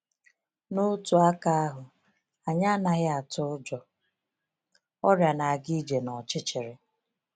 N’otu aka ahụ, anyị anaghị atụ ụjọ ‘ọrịa na-aga ije n’ọchịchịrị.’